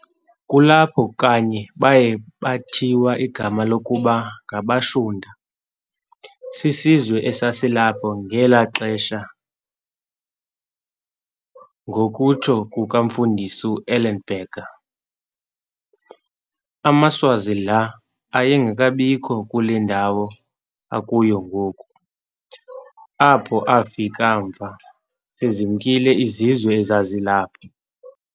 Kulapho kanye baye bathiwa igama lokuba ngabaShunta, sisizwe esasilapho ngelo xesha-ngokutsho komfundisi uEllenberger. AmaSwazi laa ayengekabikho kule ndawo akuyo ngoku, apho afike mva, sezimkile izizwe ezazilapho.